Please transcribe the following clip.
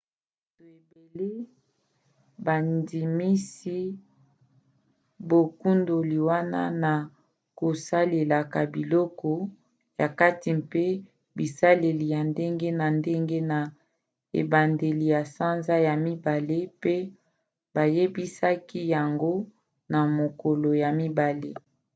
bato ebele bandimisi bokundoli wana na kosalelaka biloko ya kati mpe bisaleli ya ndenge na ndenge na ebandeli ya sanza ya mibale pe bayebisaki yango na mokolo ya mibale